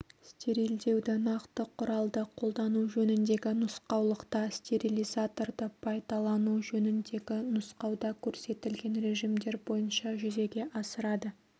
стерилдеуді нақты құралды қолдану жөніндегі нұсқаулықта стерилизаторды пайдалану жөніндегі нұсқауда көрсетілген режимдер бойынша жүзеге асырады